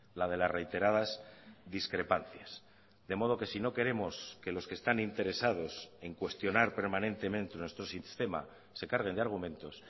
la de las reiteradas discrepancias de modo que si no queremos que los que están interesados en cuestionar permanentemente nuestro sistema se carguen de argumentos